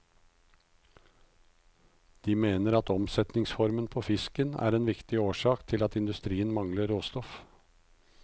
De mener at omsetningsformen på fisken er en viktig årsak til at industrien mangler råstoff.